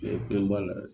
Mɛ denba la